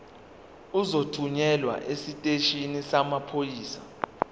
uzothunyelwa esiteshini samaphoyisa